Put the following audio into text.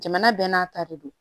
Jamana bɛɛ n'a ta de don